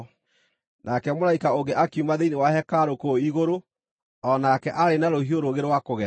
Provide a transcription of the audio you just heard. Nake mũraika ũngĩ akiuma thĩinĩ wa hekarũ kũu igũrũ, o nake aarĩ na rũhiũ rũũgĩ rwa kũgetha.